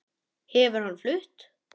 Hefur hann flutt?